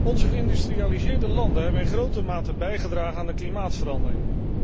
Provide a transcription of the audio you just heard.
Onze geïndustrialiseerde landen hebben in grote mate bijgedragen aan de klimaatverandering.